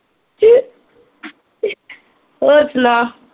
ਹੋਰ ਸੁਣਾ